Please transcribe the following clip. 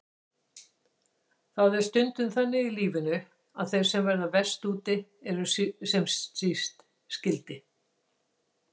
Það er stundum þannig í lífinu að þeir verða verst úti sem síst skyldi.